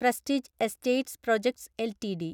prestige Estates Projects LTD